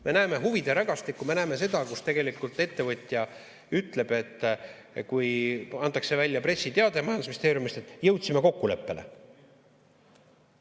Me näeme huvide rägastikku, me näeme seda, kus ettevõtja ütleb, kui antakse välja pressiteade majandusministeeriumist, et jõudsime kokkuleppele.